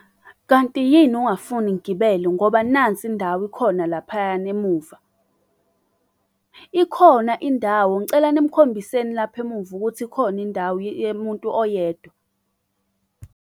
Kanti yini ungafuni ngigibele ngoba nansi indawo ikhona laphayana emuva? Ikhona indawo ngicela nimkhombiseni lapha emuva ukuthi ikhona indawo yemuntu oyedwa.